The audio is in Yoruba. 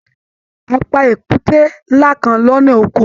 A pá èkúté nlá kán lọnà Oko.